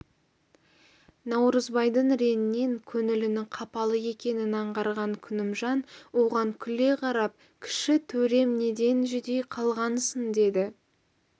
наурызбайдың реңінен көңілінің қапалы екенін аңғарған күнімжан оған күле қарап кіші төрем неден жүдей қалғансың деді